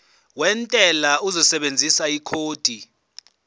wentela uzosebenzisa ikhodi